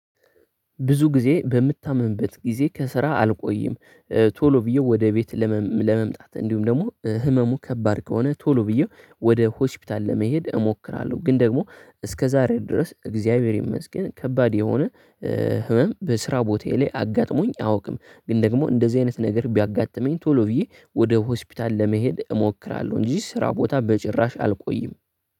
ብዙ ጊዜ በምታመምበት ጊዜ ከስራ አልቆይም። ቶሎ ብዬ ወደ ቤት ለመምጣት እንዲሁም ደግሞ ህመሙ ከባድ ከሆነ ቶሎ ብዬው ወደ ሆስፒታል ለመሄድ እሞክራለሁ። ግን ደግሞ እስከ ዛሬ ድረስ እግዚአብሔር ይመስገን ከባድ የሆነ ህመም በስራ ቦታዬ ላይ አጋጥሞኝ አያውቅም። ግን ደግሞ እንደዚህ አይነት ነገር ቢያጋጥመኝ ቶሎ ብዬ ወደ ሆስፒታል ለመሄድ እሞክራለሁ። እንጂ ስራ ቦታ በጭራሽ አልቆይም